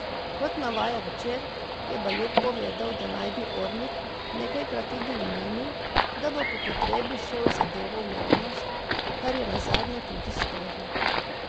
Kot navaja Večer, je Bajuk povedal, da naj bi Ornig nekajkrat tudi omenil, da bo po potrebi šel z zadevo v javnost, kar je nazadnje tudi storil.